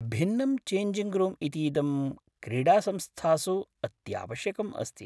भिन्नं changing room इतीदं क्रीडासंस्थासु अत्यावश्यकम् अस्ति।